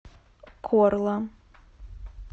корла